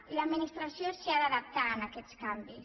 i l’administració s’hi ha d’adaptar a aquests canvis